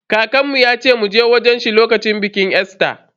Kakanmu yace mu je wajen shi lokacin bikin Easter.